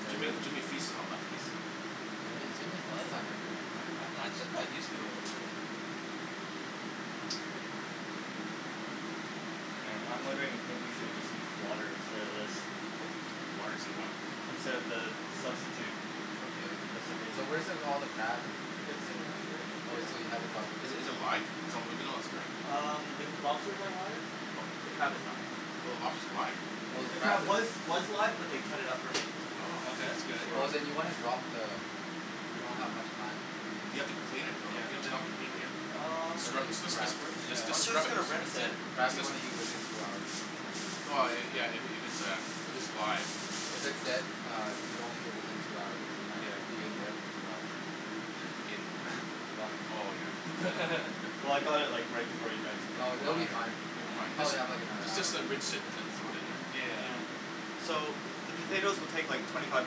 yeah you're Jimmy the Jimmy feasts on all lefties Jimmy Jimmy What? feasts on everyone I I just kinda used to it, that's it Hmm I'm wondering if maybe you should just use water instead of this? Water instead of what? Instead of the substitute It's okay. recipe So where's the all the crab and. It's in the fridge Oh here so you haven't dropped it in Is is it live, its not moving lots right? Um the lobsters are live, Oh. the crab is not. Oh the Oh. lobster's live? Oh the The crab crab is was was live but they cut it up for me, Oh because its That's good easier Oh than then you wanna drop the, you don't have much time You have to clean it? No no, you don't have to clean it yeah, Um scrub Especially just just crab. I was scrub just it. gonna Just rinse it Crab you just. wanna eat within two hours. Yeah yeah if its a if it's live If it's dead uh if you don't eat it within two hours you might be in there for two hours In where? Oh yeah. Well I got it like right before you guys came, No they'll but Oh um be yeah. fine, It will be you fine. probably have like another Just hour just rinse it and then throw it in there. So the potatoes will take like twenty five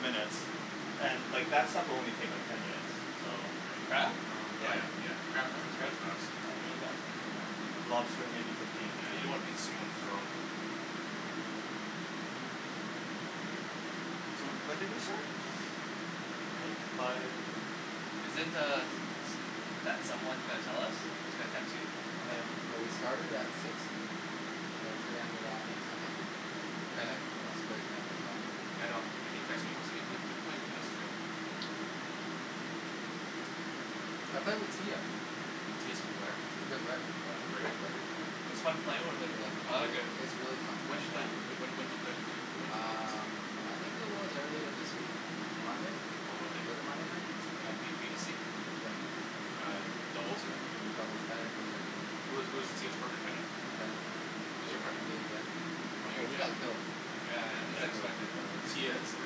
minutes and like that stuff will only like take ten minutes, so The crab? Yeah Lobster maybe fifteen Yeah you don't wanna be seeing on the throne So when did they start? Like five Isn't er that someone gonna tell us, is gonna text you? Oh yeah Oh we started at six so it should end around eight something. Bennett wants to play tonight as well. Yeah I know he texted me, saying, "Hey wait are we playing tennis tonight?" I played with Tia Tia is a good player, She's a good player, oh she's a great great player, player. yeah. It's When fun playing Yeah with her though, I like it. it it's really fun did you play Yeah when when did you play with her, when did you play against Um her? I think it was earlier this week, M- Monday? On Monday? Was it Monday night, something At like b b t that c? Yeah Uh doubles or? In the doubles, Bennet was there too. Who who's Tia's partner? Bennett? Bennet Who's your partner? me and Jen. Oh you Oh and we Jen. got killed Yeah Yeah yeah that's Jen. expected though right Tia is a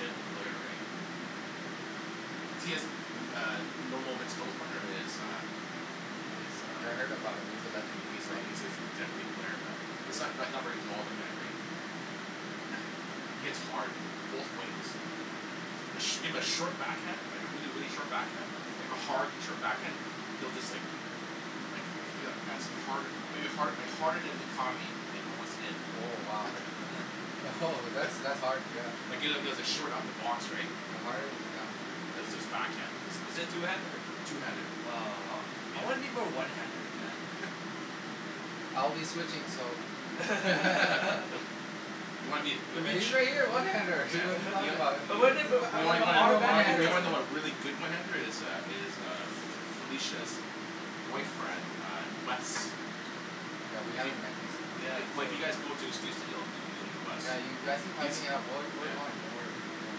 deadly player right? Tia's uh, normal mixed doubles partner is uh, is Yeah I uh, heard about him, he's a legend in these he's a part he's a deadly player man, he's not not very tall the guy, right? He hits hard, both wings. A shim a short back hand like a really really short backhand, like a hard short backhand he'll just like like hit a as hard a maybe hard harder than Dicami with within. Oh wow Oh ho that's that's hard yeah even at short upper box right? Yeah harder than Dicami is pretty hard Backhand. Is is two handed? I'll be switching so You'll be the Usually I get a one handed here what're you talking about But wasn't it but but Oh one handed Yeah we haven't met these these Yeah Yeah you've actually been hyping it up we're we're going doing worry we're going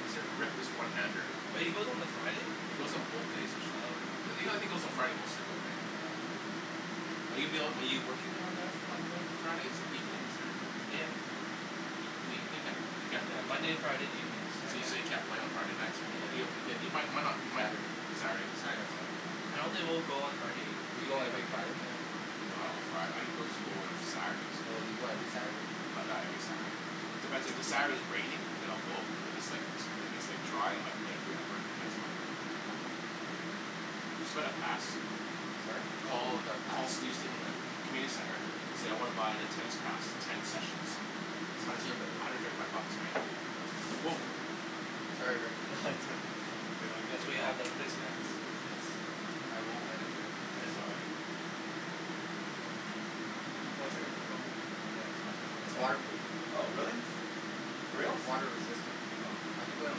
He's a reckless one-handed. But he goes on the Friday? He goes on both days Oh okay. usually. He only goes on Friday mostly though right? Oh okay. Are you ab- are you working on Mo- on Friday evenings? Yeah You mean, you can't Yeah, Monday and Friday evenings I can't. Yeah. Yeah. do? I don't think we'll go on Friday, Do you go even if I every can. Friday? Oh you go every Saturday? Not not every Saturday. Sorry? Oh oh you got a pass? Community center. So I wanna buy the tennis pass, ten sessions. It's hundred cheaper thirty five bucks, right? Whoa Sorry Rick here let me get you That's what a you towel have, that's place mats I won't let it drip Oh it's all right Watch out of the phone, okay, its the most important It's thing. water proof Oh really? Yeah For reals? Water resistant Oh. I could put it in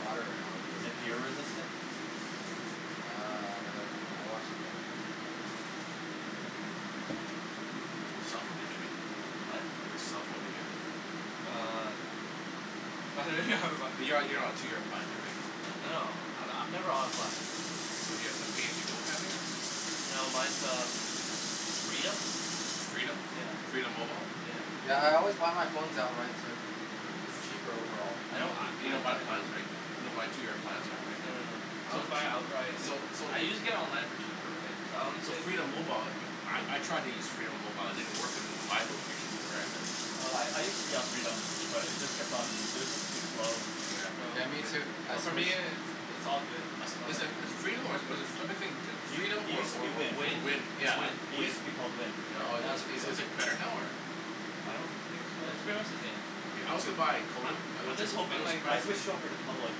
water right now and I'd Is it be okay beer resistant? Uh that I don't know I watch the Which cellphone do you have Jimmy? Oh? Which cellphone do you have? Uh You're you're on a two year plan too, right? No no I I'm never on plan. So you have like a pay as you go plan thing or No mine's uh Freedom. Freedom? Yeah. Freedom mobile? Yeah Yeah. yeah I always buy my phone outright too, its cheaper overall Hmm? You don't buy plans, right? You don't buy two year plans on it No no no. right? I always buy it outright, So. So so I can get it online for cheaper, right, so So Freedom mobile, I I tried to use Freedom mobile, it didn't work in my location where I live. I I Oh use to be on Freedom, but it just kept on, it was just too slow Yeah Yeah me too, I Oh for me switched it's it's all good As is is Yeah Freedom or or is it or I been thinking It Freedom it or use to or be or Wind, Wind. Wind? It's Wind. it use Wind. to be called Wind. Yeah, Or now it's Is Freedom. is it better now, or? I don't think so. No it's pretty much the same Yeah, I also buy Kodo. I I also, just I hoping also like I switched over to Public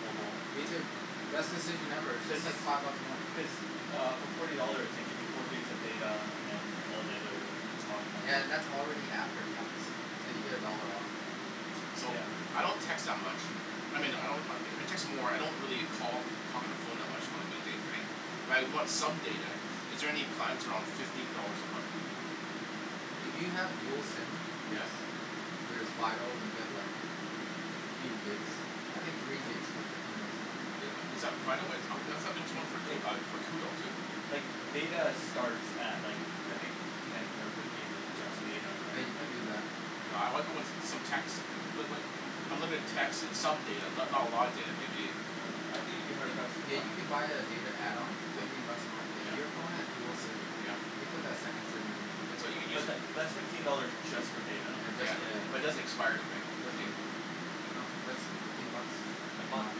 mobile. Me too, best decision ever it's Cuz, just like five bucks more Cuz uh for forty dollars they give you four gigs of data and then all the other Yeah and that's already after tax and you get a dollar off So Yeah I don't text that much, I mean I don't I I text more I don't really call talk on the phone much on the weekdays right but I want some data, is there any plans around fifteen dollars a month? If you have dual Hmm SIM Yes yes There's Fido you get like few gigs I think three gigs for fifteen bucks a month Is is that Fido? Uh I thought there was one Like uh for Koodo too? like data starts at like I think ten or fifteen with just data Yeah right you can like do that No I I want some texting right, but but unlimited text and some data, not not a lot of data maybe Yeah, I think you'd be hard You pressed to yeah find you can buy a data add-on fifteen bucks a month. If Yeah your phone has dual SIM Yeah you can put that second SIM in So there you use But tha- that's fifteen dollars just for data Yeah just Yeah, for data but it Yeah doesn't expire right, the Doesn't data? No that's fifteen bucks A month um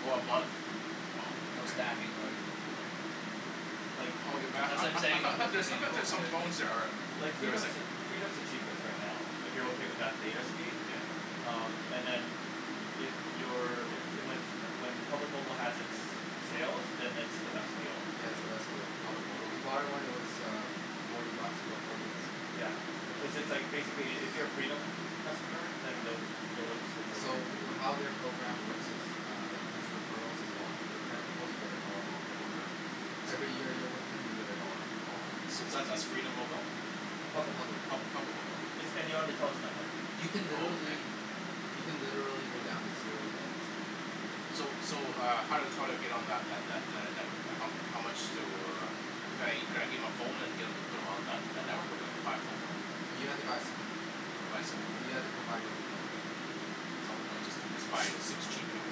Oh a month. Oh, And no ok. Hmm stacking or anything Like I That's what I'm I I saying thought there's I thought there's some phone that are Like there's Freedom's like the, Freedom's the cheapest right now if you're okay with that data speed, Yeah um, and then if you're, if, the when when Public Mobile has it's sale then it's the best deal I That's think the best deal Public mobile Did you buy it when it was uh forty bucks for four gigs? Yeah. Yeah that's Cuz the it's like one basically if you're a Freedom customer then Yeah they'll they'll let you switch over. So how their program works is Uh there's referrals as well, if you refer people you get a dollar off Oh every month really? Every year you're with them you get a dollar off every So month that's that's Freedom Mobile? No it's Public. Public Pub- Mobile Public Mobile. It's, and you're on the Telus network You can Oh okay. literally you can literally go down to zero dollars a month. So so uh how how do I get on that that that network, how mu- how much do, could I could I give my phone and get em to put on that that network or do I haffa buy a phone from them? You have to buy a SIM, I have to buy a SIM card. you have to provide your own phone. Some or just just buy a SIM's cheap anyways.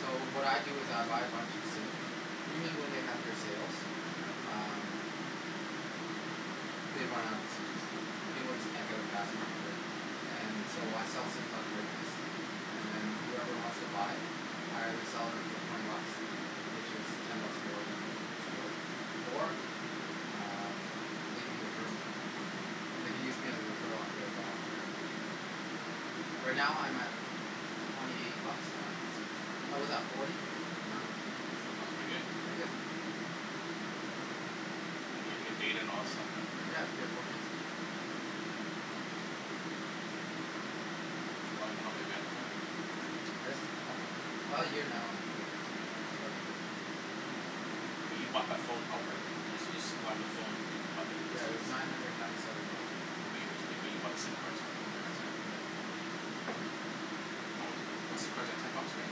So what I do is I buy a bunch of SIMs, usually when they have their sales, Yeah um They run out of SIMs, Oh people just yeah. can't get them fast enough And so I sell SIMs on Craigslist And then whoever wants to buy I either sell it for twenty bucks which is ten buck more than it's worth or um they can refer me. Hmm They can use me as a referral and I get a dollar off every month Right now I'm at twenty eight bucks a month, I was at forty but now I'm at twenty eight so, pretty good. And and you get data and all that stuff and? Yeah, I get four gigs now Hmm How how long have you had the phone for than? This um now actually, Hmm about a year But you bought that phone outright, right? You you supplied them the phone but you you bought the SIM Yeah it card. was nine hundred and ninety seven dollars at the time But but you bought the SIM cards from those guys right? Yeah How mu- , but SIM cards are ten bucks right.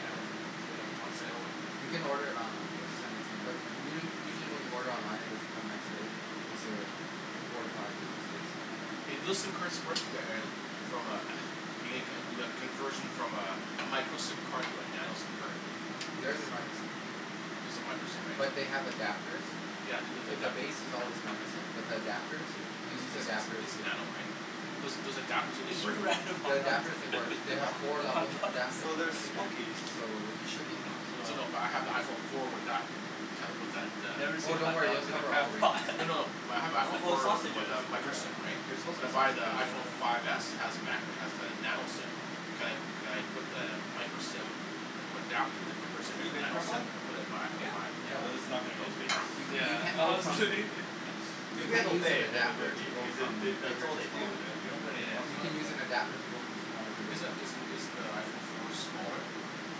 Yeah it's ten bucks When they were on sale. You can order it online they'll send it to you. But u- u- usually when you order online it doesn't come next day, it's a four to five business days. Yeah Hey do those SIM cards work, the eh, from a eh, you make you do a conversion from a micro SIM card to a nano SIM card? There's is micro SIM Those are micro SIM right? But they have adapters Yeah, they look like The that base is always micro SIM but the adapters, you can It's use the it's adapters it's here nano right? Those those adapters do they work? The adapters they work, they have Hmm? four levels of Ah. adapting No there's I think Okay. so you should be fine So no but I have iPhone four with that Never Oh seen don't worry they'll in a cover crab all ranges pot No no no, my I have No, iPhone they're four with with sausages, a micro they're SIM right, they're suppose to when be I buy the sausages IPhone five s it has macro, it has the nano SIM, can could I put the micro SIM into adapter that converts it Have into you a been to nano SIM and put it into my iPhone five? Yeah, No though this is not gonna be as No? good. You Yeah. you can't go I'm from, kidding you If we have can't a move an then it adapter would to be, go because they from that's that's bigger all they to do, smaller they don't put anything else You in can use an there. adapter to go from smaller to Is bigger isn't isn't the iPhone four smaller, it's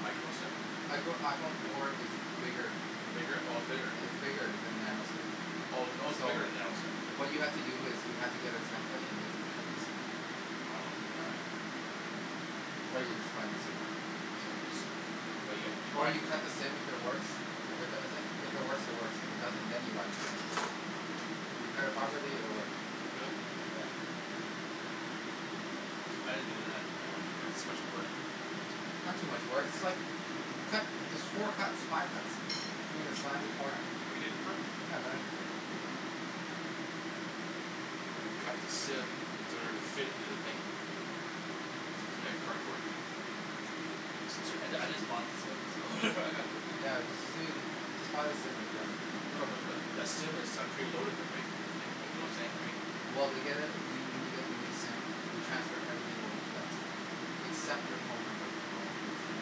micro SIM? I go iPhone four is bigger Bigger, oh it's bigger? It's bigger than nano SIM Oh oh its So bigger than nano SIM? what you have to do is you have to get a template and you have to cut the SIM I don't wanna do that. Or That'll you just buy a new SIM Just buy a new SIM But you gotta, you Or buy you cut the SIM if it works, if it doesn't if it works it works, if it doesn't then you buy a new SIM Oh If you cut it properly it will work Will it? I didn't do that. I wouldn't do that, it's too much work. It's not too much work, it's like you cut there's four cuts five cuts Hmm the corner Have you did it before? Yeah I've done it before Oh. Cut the SIM to order it to fit into the thing It's made out of cardboard. Some sort I of I just bought the SIM, so Yeah you ju- you No no but just but SIM is uh preloaded though right, that's the thing, you know what I'm saying right? Well they get uh you when you get the new SIM they transfer everything over to that SIM except your phone numbers and all that good stuff.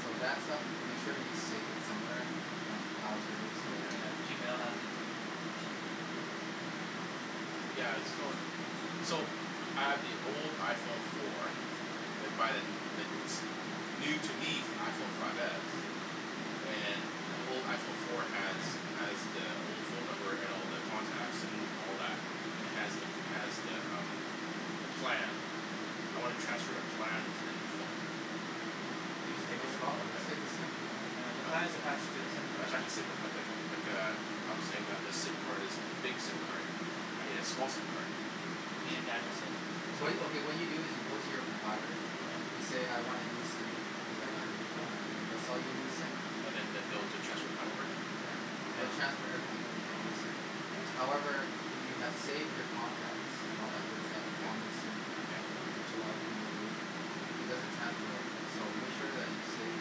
So that stuff, make sure you save it somewhere if you're on a cloud service or Yeah, Yeah. Gmail has it too. Yeah, it's So, I have the old iPhone four and I buy the n- the new, to me, f- iPhone five s, and the old iPhone four has, has the old phone number and all the contacts and all that and has the, has the umm the plan. I wanna transfer the plan to the new phone. You just take your No SIM card, problem, just right? take the SIM yeah. Yeah, the plan is attached to the SIM I card. tried to [inaudible 0:30:35.01 - 0:30:35.49] but- but- lik- lik- like a, I was saying that the SIM card is big SIM card. I need a small SIM card. You need nano SIM. What you, okay, what you do is you go to your provider. Mhmm. You say, "I want a new SIM because I got a new phone" and then they'll sell you a new SIM. And then they'll be able to transfer plan over then? Yeah. They will Oh. transfer everything over to that Oh new SIM. okay. Yeah, that's easy. However, if you have saved your contacts and all that good stuff Yeah. on the SIM, Yeah. which a lot of people do, it doesn't transfer over. So make sure that you save,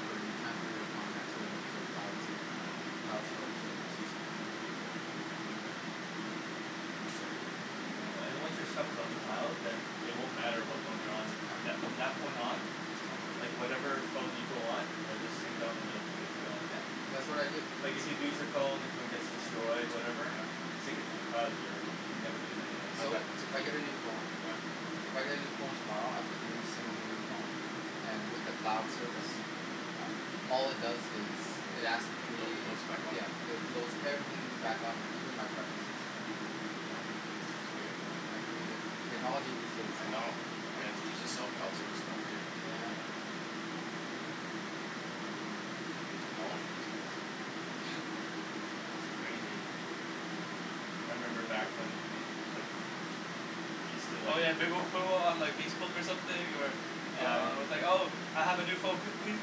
or you transfer your contacts over to a cloud, cloud store service or something like that. Okay Interesting. Yeah, wa- and once your stuff is on the cloud, then it won't matter what phone you're on with, from Yeah. that, from that point on Just download it. like whatever phone you go on it'll just sync up and it'll be good to go. Yep. That's what I do. Like if you lose your phone, your phone gets destroyed, whatever. Sync it to the cloud and you're, you'd never lose anything. So, if I get a new phone Yeah. If I get a new phone tomorrow, I put the new SIM in the new phone, and with the cloud service, uh all it does is, it asks It load, me, it loads back on yeah, there. it loads everything back on here, even my preferences. Uh. Oh. That's pretty good. Yeah, it's pretty good. Technology these days, I Don. know. I have to use a self-cloud service stuff, too. Yeah. Technology these days. It's crazy. I remember back when we, like, we still Oh like yeah, they will put it on like Facebook something or Yeah. uh, it's like, "Oh I have a new phone pe- pe-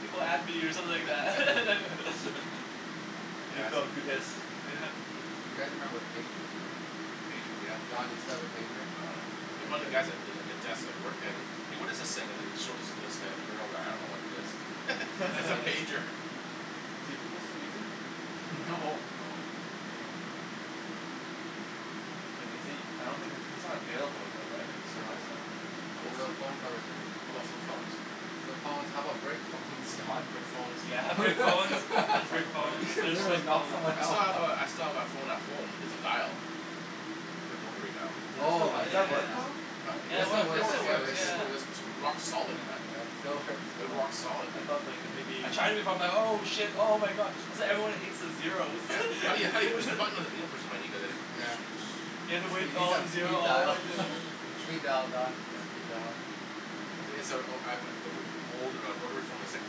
people add me" or something like that. New Yeah. phone You guys remember pagers right? Pagers, yeah. Don, you still have a pager? No. Okay, One of good. the guys at the, at the desk I worked at it, "Hey, what is this thing?" and then it showed it to this g- girl, like, "I don't know what it is." It's a pager. Do people still use it? No, No. no. No, no. Like is it, I don't think its, it's not available anymore, right? Like No, no, no, no. service, I don't Your think? phone covers everything. How about flip phones? Flip phones. How about brick phones, Don? Brick phones. You're Brick phones and Soccer flip player phones. They're just, gonna like, knock phones. someone I still have out. a, I still have that phone at home that's dial. Oh So, my Ai does ya that goodness, work ya. man. though? It still [inaudible works, it still works. 0:32:42.56 - 0:32:43.83] rock solid man. Yeah, still works. Uh, rock solid. I thought like, maybe I tried it before. I'm like, "Oh shit, oh my god. That's why everyone hates the zeros." Yeah. How you, how you push the button? Like, you don't push the button, you go like this. Yeah. You need some speed dial. Speed dial Don, speed dial. Yeah. [inaudible 0:32.59.28 - 0:33:00.74] old uh rotary phone. It's like,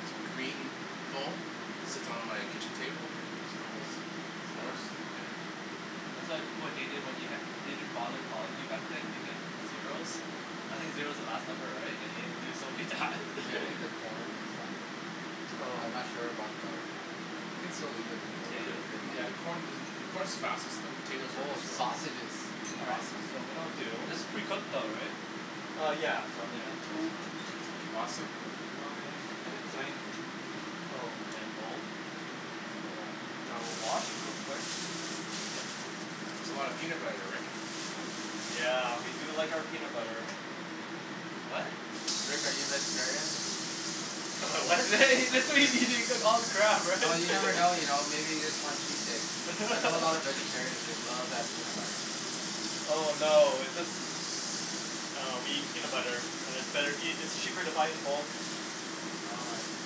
it's a green phone, sits on my kitchen table. Still goes, still works. Yeah. That's why people hated it when you had- didn't bother calling you back then because of the zeros. I think Mm. zero's the last number, right? And you have to do it so many times. Hey, I think the corn is done. But I'm not Oh. sure about the We can still leave it in there, Potato. Yeah, the right? corn i- the corn's fastest, the potatoes are Oh the slowest. sausages. All right. Awesome. So what I'll do This is pretty cooked though, right? Uh yeah. So I mean that, that's fine. pasta? Where's my, I had a giant, oh. Giant bowl? Bowl, which I will wash real quick. That's a lot of peanut butter, Rick. Yeah, we do like our peanut butter. What? Rick, are you a vegetarian? Am I what? He just said he, he's gonna eat all the crab, right? Well, you never know you know. Maybe you just want cheat days. I know a lot of vegetarians, they love that peanut butter. Oh no, it's just, uh, we eat peanut butter, and it's better eat- and it's cheaper to buy it in bulk. Oh I see.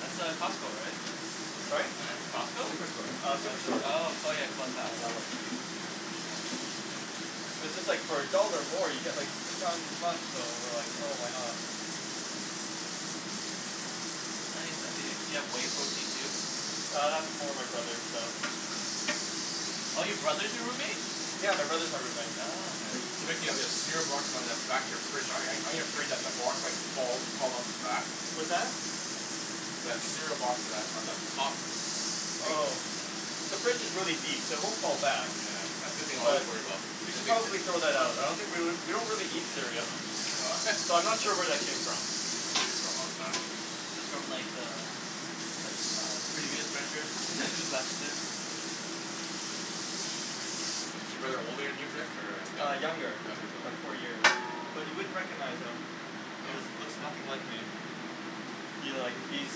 That's uh, Costco, right? Sorry? It's Costco? Superstore. Uh, Superstore. Oh [inaudible 0:34:06.91 - Yellow. 0:34:08.08] So just like for a dollar more, you get, like, three times as much, so we're like, "Oh, why not." You have whey protein too? Uh, that's more my brother's stuff. Oh your brother's your roommate? Yeah. My brother's my roommate. Oh, okay. So Rick, you have that cereal box on the back of your fridge. ar- aren't you afraid that the box might fall, fall off the back? What's that? That cereal box on that, on the top. Oh. The fridge is really deep, so it won't fall back. Yeah. That's the thing I always worry about. We should probably throw that out. I don't think we l- we don't really eat cereal. Oh So, I'm not sure where that came from. It's from like the, the- uh previous renters who just left it. Is your brother older than you, Rick, or, uh Uh, younger? younger, Younger by brother. four year. But you wouldn't recognize him. He No? looks, looks nothing like me. He like, he's,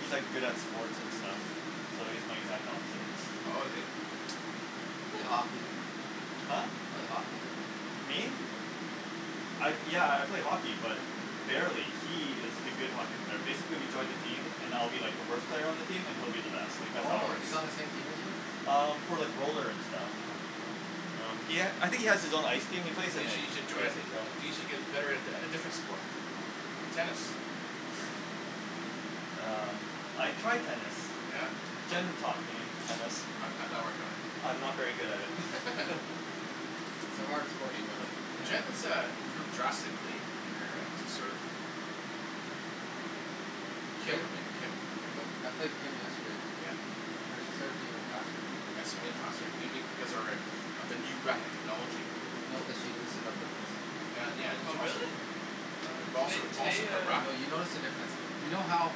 he's like good at sports and stuff. So he's my exact opposite. Oh, is he? You play hockey. Huh? You play hockey though. Me? I, yeah, I play hockey but barely, He is the good hockey player. Basically, we joined a team, and I'll be like the worst player on the team and he'll be uh-huh. the best. Like that's how it Oh, works. he's on the same team as you? Um, for like roller and stuff. Oh, bro. Um, he ha- I think he has his own ice team. He plays in you it. should join a, y- y- you should get better at, at a different sport. Tennis. Uh. I tried tennis. Yeah? How'd Jenn taught me tennis. How'd, how'd that work out? I'm not very good at it. It's a hard sport to learn. Jenn has, uh, improved drastically in her, uh, serve. Played, I played, I played Kim yesterday. Yeah? Her serve's even faster now. faster maybe because of her, uh, of the new racket technology. No, cuz she loosened up her wrist. Well, yeah. It's Oh also really? It also, Today, it's also today her uh No, racket. you notice the difference. You know how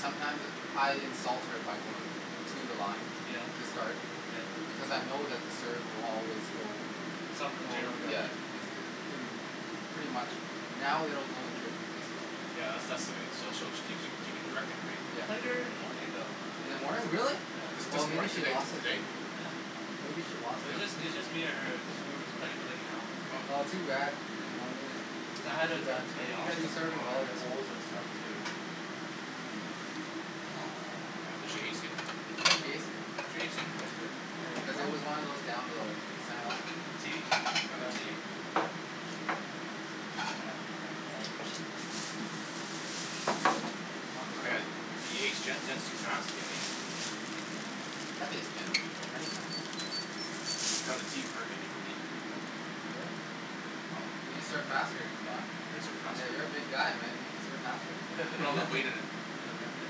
sometimes I insult her by going to the line, Yeah. to start Yeah. because I know that the serve will always go, Some in well general yeah, direction. is uh. Pretty much. Now it will go in different places. Yeah, that's, that's so she'll, she cou- she she can direct it, right? I Yeah. played her in the morning though. In the morning? Really? This, Yeah. Oh, this maybe morning? she Today, t- lost it today? then. Yeah. Maybe she lost It was it. just, it was just me and her. Just we were just playing for, like, an hour. Oh. Oh too bad. You know. Yeah I had Too to bad. the day off. She was some serving Wow. well yesterday. bowls and stuff too. Oh, did she ace you? Yeah, she No. aced me. She ace you? Yesterday. Here you Cuz Oh. go. it was one of those down the center line. T? Oh no. Down the Down T. T. Was an kinda thing. I don't think you I are got it. letting He aced Jenn? Jenn's too fast to get aced. Have aced Jenn before. Many times. Got a T for her maybe for me. Really? Oh. You can serve faster Don? I can serve faster. Yeah. You're a big guy, man. You can serve faster. Put all that weight in it. Yeah, Yeah.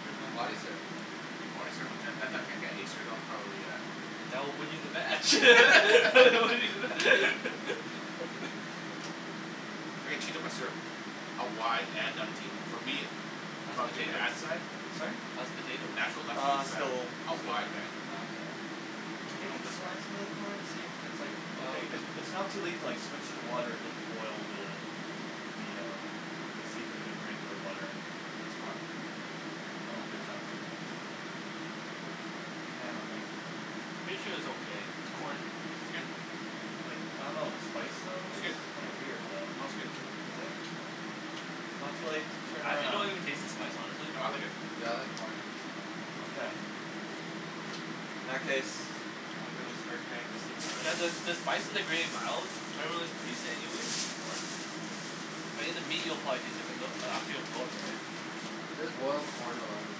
pretty much. Body serve Body serve on Jenn that that that can't ace her, that'll probably a That will win you the match. I can cheat on my serve. a wide and for me, How's the from doing the potato? ad side? Sorry? How's the potato? Natural left field Uh, side. still, Out still wide cooking. right? Oh okay. Okay, now Maybe this one? try some of the corn, and see if it's, like, okay, cuz it's not too late to, like, switch to water and just boil the, the um, the seafood in regular water. Oh, it's hot. Oh, there's that too. Yeah, like Pretty sure it's okay. Corn. Like, I don't know. The spice, though, It's good. it's kinda weird, though. No., it's good. Is it? It's not too late to turn I actually don't around. even taste the spice honestly. No, I like it. Yeah, I like corn. Okay. In that case, I'm gonna start getting the seafood You ready. guys uh, the spice is like really mild. I don't really taste it anyways in the corn. But in the meat you'll probably taste it cuz it'll, it'll, right? Just boiled corn alone is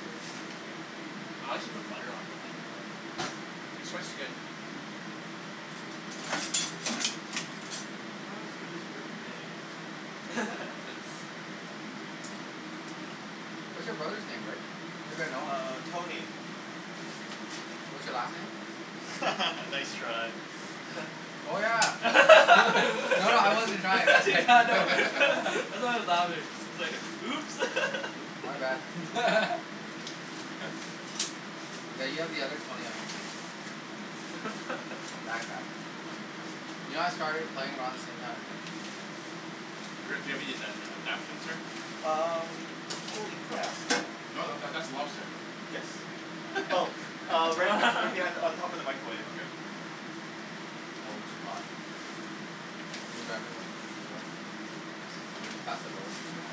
good. Yeah. I actually put butter on it. Like some butter in there. The spice is good. Not as good as Old Bay. What's your brother's name, Rick? Maybe I know him. Uh, Tony. What's your last name? Nice try. Oh yeah. No. No, no, I wasn't trying Yeah, I know. I know it's louder. It's like, "Oops." My bad. Yeah, you have the other Tony on your team. That guy. You know I started playing around the same time as him? Rick, do you have any nan- uh napkins here? Um. Holy crap. No, that, that's a lobster. Yes. Oh uh, right b- right behind, on top of the microwave. Okay. Oh, too hot Can you grab me one Will you pass the roll? Yeah.